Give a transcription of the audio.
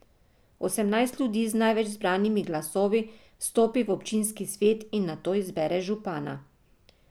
Osemnajst ljudi z največ zbranimi glasovi vstopi v občinski svet in nato izbere župana.